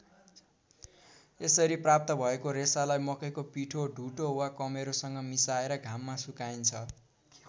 यसरी प्राप्त भएको रेसालाई मकैको पिठो ढुटो वा कमेरोसँग मिसाएर घाममा सुकाइन्छ।